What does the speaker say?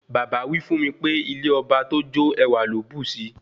Bàbá wí fún mi pé ilé ọba tó jò ẹwà ló bùsi